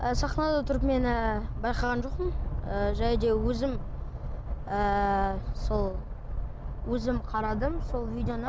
сахнада тұрып мен ы байқаған жоқпын ы және де өзім ыыы сол өзім қарадым сол видеоны